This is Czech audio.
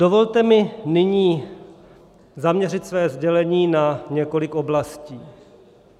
Dovolte mi nyní zaměřit své sdělení na několik oblastí.